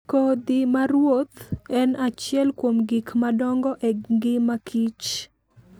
Kodhi ma ruoth en achiel kuom gik madongo e ngima kich.